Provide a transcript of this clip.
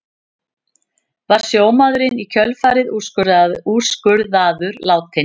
Var sjómaðurinn í kjölfarið úrskurðaður látinn